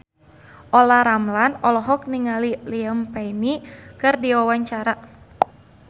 Olla Ramlan olohok ningali Liam Payne keur diwawancara